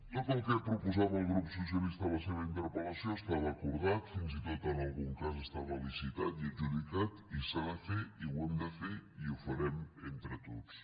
tot el que proposava el grup socialista en la seva interpel·lació estava acordat fins i tot en algun cas estava licitat i adjudicat i s’ha de fer i ho hem de fer i ho farem entre tots